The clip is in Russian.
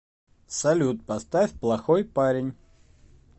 салют поставь плохойпарень